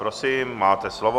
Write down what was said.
Prosím, máte slovo.